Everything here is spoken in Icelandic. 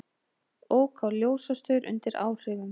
Ók á ljósastaur undir áhrifum